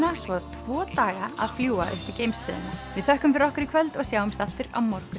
svo tvo daga að fljúga upp í geimstöðina við þökkum fyrir okkur í kvöld og sjáumst aftur á morgun